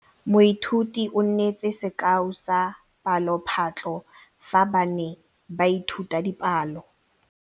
Moithuti o neetse sekaô sa palophatlo fa ba ne ba ithuta dipalo.